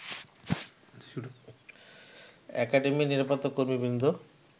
একাডেমির নিরাপত্তাকর্মীবৃন্দ